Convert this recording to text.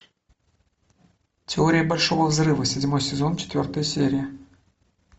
теория большого взрыва седьмой сезон четвертая серия